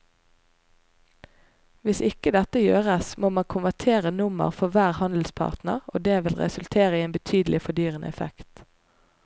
Hvis ikke dette gjøres må man konvertere nummer for hver handelspartner og det vil resultere i en betydelig fordyrende effekt.